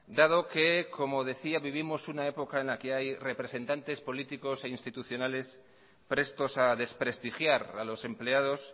dado que como decía vivimos una época en la que hay representantes políticos e institucionales prestos a desprestigiar a los empleados